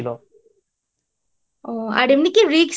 ও আর এমনি কি Risk